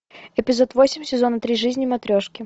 эпизод восемь сезона три жизни матрешки